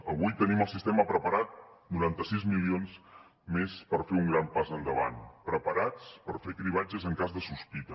avui tenim el sistema preparat noranta sis milions més per fer un gran pas endavant preparats per fer cribratge en cas de sospita